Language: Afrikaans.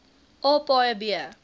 a paaie b